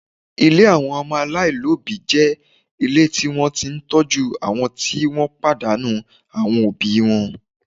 Ilé àwọn ọmọ aláìní òbí jẹ́ ilé tí wọ́n ti ń tọ́jú àwọn tí wọ́n ti pàdánù àwọn òbí wọn